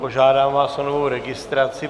Požádám vás o novou registraci.